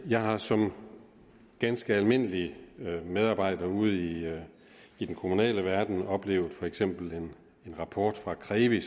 jeg har som ganske almindelig medarbejder ude i i den kommunale verden oplevet at for eksempel kom en rapport fra krevi